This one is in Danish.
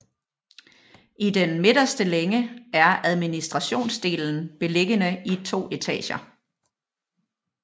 I den midterste længe er administrationsdelen beliggende i to etager